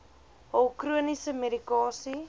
hul chroniese medikasie